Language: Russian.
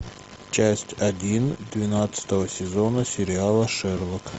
часть один двенадцатого сезона сериала шерлок